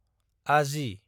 आजि